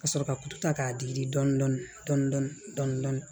Ka sɔrɔ ka ku ta k'a digi dɔɔnin dɔɔnin